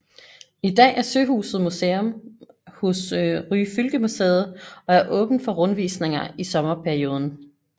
I dag er søhuset museum hos Ryfylkemuseet og er åbent for rundvisninger i sommerperioden